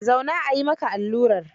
Zauna a yi maka allurar.